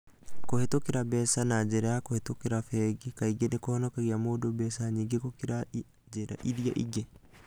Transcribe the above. Kũhĩtũkĩra mbeca na njĩra ya kũhĩtũkĩra bengi kaingĩ nĩ kũhonokagia mũndũ mbeca nyingĩ gũkĩra njĩra iria ingĩ.